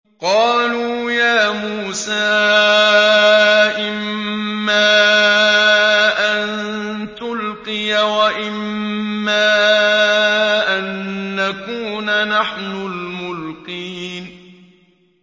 قَالُوا يَا مُوسَىٰ إِمَّا أَن تُلْقِيَ وَإِمَّا أَن نَّكُونَ نَحْنُ الْمُلْقِينَ